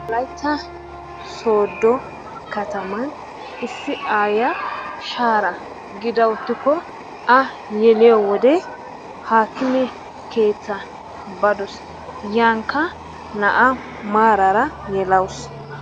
Wolaytta sooddo kataman issi aayyiya shaara gida uttikko a yeliyo wode haakime keettaa badoos. yankka naa'a maarara yelawus.